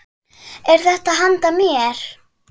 Er þetta handa mér?!